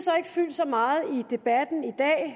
har ikke fyldt så meget i debatten i dag